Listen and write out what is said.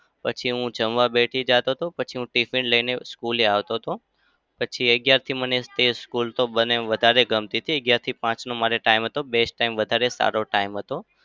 પછી હું જમવા બેસી જાતો તો. પછી હું tiffin લઇને school એ આવતો હતો. પછી અગિયારથી મને એ school તો મને એમ વધારે ગમતી હતી. અગિયારથી પાંચનો મારે time હતો. best time વધારે સારો time હતો.